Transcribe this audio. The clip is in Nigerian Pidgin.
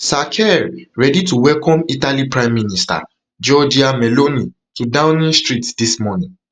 sir keir ready to welcome italy prime minister giorgia meloni to downing street dis morning